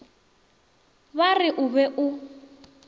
ba re o be o